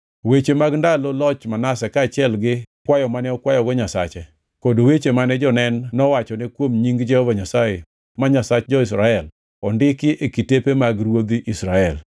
Weche mag ndalo loch Manase kaachiel gi kwayo mane okwayogo Nyasache, kod weche mane jonen nowachone kuom nying Jehova Nyasaye, ma Nyasach jo-Israel ondiki e kitepe mag ruodhi Israel.